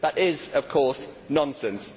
That is, of course, nonsense.